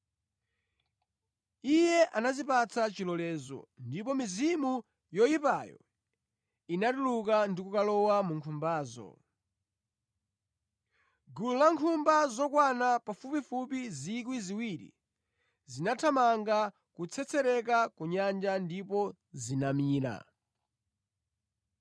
Iye anazipatsa chilolezo, ndipo mizimu yoyipayo inatuluka ndi kukalowa mu nkhumbazo. Gulu la nkhumba, zokwana pafupifupi 2,000 zinathamanga kutsetserekera ku nyanja ndipo zinamira.